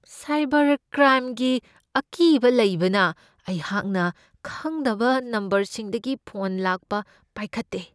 Cyber ꯀ꯭ꯔꯥꯏꯝꯒꯤ ꯑꯀꯤꯕ ꯂꯩꯕꯅ ꯑꯩꯍꯥꯛꯅ ꯈꯪꯗꯕ ꯅꯝꯕꯔꯁꯤꯡꯗꯒꯤ ꯐꯣꯟ ꯂꯥꯛꯄ ꯄꯥꯏꯈꯠꯇꯦ ꯫